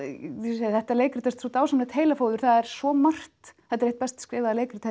ég segi þetta leikrit er svo dásamlegt heilafóður það er svo margt þetta er eitt best skrifaða leikrit